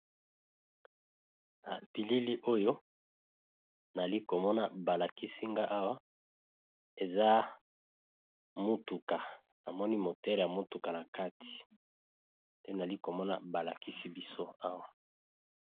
Na bilili oyo nazalikomona balakisinga eza mutuka pe namoni moteur ya mutuka nakati nde nazalikomona balakisinga nga Awa.